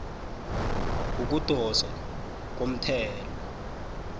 yokudoswa komthelo